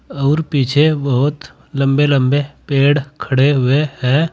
और पीछे बहोत लंबे लंबे पेड़ खड़े हुए हैं।